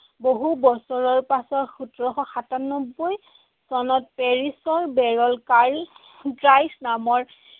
বহু বছৰৰ পাছত সোতৰশ সাতান্নবৈ চনত পেৰিছৰ কাৰ্ল ড্ৰাইস নামৰ